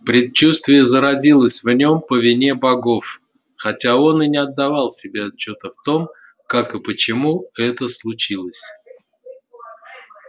предчувствие зародилось в нём по вине богов хотя он и не отдавал себе отчёта в том как и почему это случилось